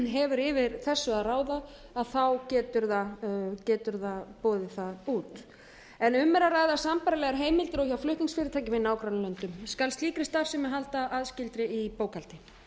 hefur yfir þessu að ráða getur það boðið það út um er að ræða sambærilegar heimildir og hjá flutningsfyrirtækjum í nágrannalöndunum skal slíkri starfsemi haldið aðskilinni í bókhaldi